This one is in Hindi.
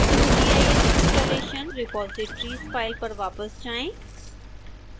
qgis installation repositories फाइल पर वापस जाएं